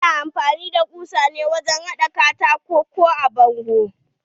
Ana amfani da ƙusa wajen haɗa katako ko a bango.